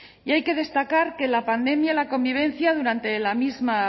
y hay que destacar que la pandemia y la convivencia durante la misma